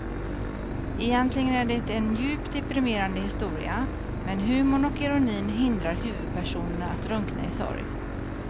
Egentligen är det en djupt deprimerande historia men humorn och ironin hindrar huvudpersonen att drunkna i sorg.